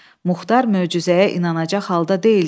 Muxtar möcüzəyə inanacaq halda deyildi.